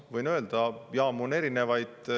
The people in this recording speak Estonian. Võin öelda, et jaamu on erinevaid.